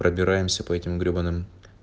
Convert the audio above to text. пробираемся по этим гребаным